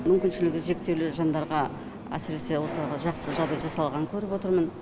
мүмкіншілігі шектеулі жандарға әсіресе осыларға жақсы жағдай жасалғанын көріп отырмын